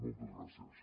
moltes gràcies